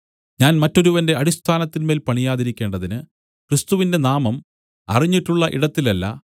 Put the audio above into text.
ഞാൻ മറ്റൊരുവന്റെ അടിസ്ഥാനത്തിന്മേൽ പണിയാതിരിക്കേണ്ടതിന് ക്രിസ്തുവിന്റെ നാമം അറിഞ്ഞിട്ടുള്ള ഇടത്തിലല്ല